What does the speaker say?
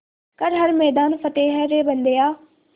कर हर मैदान फ़तेह रे बंदेया